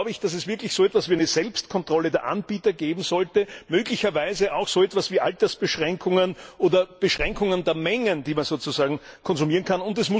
Darum glaube ich, dass es wirklich so etwas wie eine Selbstkontrolle der Anbieter geben sollte, möglicherweise auch so etwas wie Altersbeschränkungen oder Beschränkungen der Mengen, die man konsumieren kann.